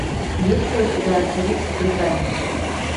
есть ли у тебя астерикс в британии